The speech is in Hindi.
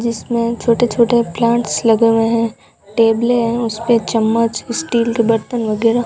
जिसमें छोटे-छोटे प्लांट्स लगे हुए हैं टेबलें हैं उस पे चम्मच स्टील के बर्तन वगैरा --